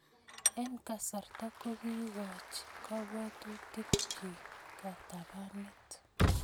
Eng kasarta, kokiikoch kabwatutikchi katabanet